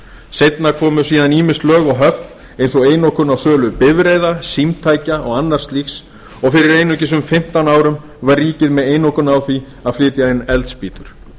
seinna komu síðan ýmis lög og höft eins og einokun á sölu bifreiða símtækja og annars slíks og fyrir einungis um fimmtán árum var ríkið með einokun á því að flytja inn eldspýtur